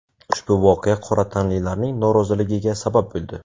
Ushbu voqea qora tanlilarning noroziligiga sabab bo‘ldi.